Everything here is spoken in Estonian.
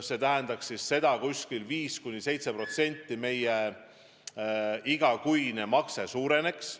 See tähendaks seda, et 5–7% meie igakuine makse suureneks.